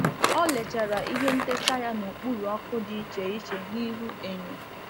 Ọ lechara ihe ntechaa ya n'okpuru ọkụ dị iche iche n’ihu enyo.